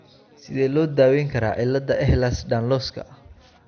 Sidee loo daweyn karaa cilada Ehlers Danloska?